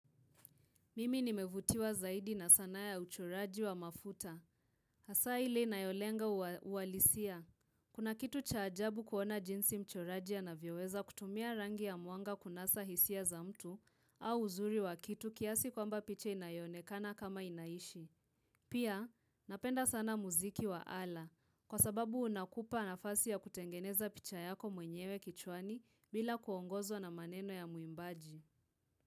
Mimi nimevutiwa zaidi na sanaa ya uchoraji wa mafuta. Hasa ile inayolenga uwa uwalisia. Kuna kitu cha ajabu kuona jinsi mchoraji anavyoweza kutumia rangi ya muanga kunasa hisia za mtu au uzuri wa kitu kiasi kwamba picha inayonekana kama inaishi. Pia, napenda sana muziki wa ala. Kwa sababu unakupa nafasi ya kutengeneza picha yako mwenyewe kichwani bila kuongozwa na maneno ya muimbaji.